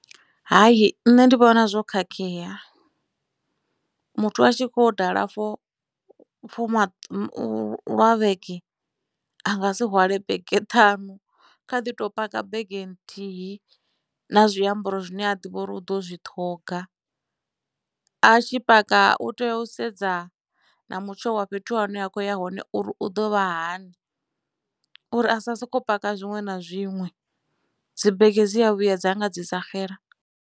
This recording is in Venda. Hai nṋe ndi vhona zwo khakhea muthu a tshi khoya u dala for lwa vhege a nga si hwale bege ṱhanu kha ḓi to paka bege nthihi na zwiambaro zwine a ḓivha uri u ḓo zwi ṱhoga a tshi paka u tea u sedza na mutsho wa fhethu hune a khoya hone uri u ḓo vha hani uri a sa soko paka zwiṅwe na zwiṅwe dzi bege dzi a vhuya dza nga dzi sa xela.